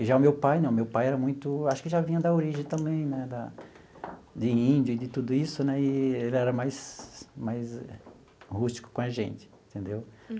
E já o meu pai não, meu pai era muito, acho que já vinha da origem também né da de índio e de tudo isso né, e ele era mais mais rústico com a gente, entendeu?